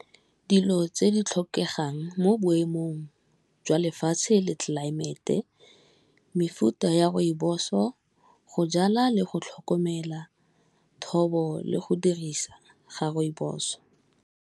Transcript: Dilo tse di tlhokegang mo boemong jwa lefatshe le tlelaemete, mefuta ya rooibos-o, go jala le go tlhokomela thobo le go dirisa ga rooibos-o.